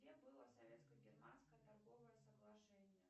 где было советско германское торговое соглашение